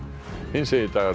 hinsegin dagar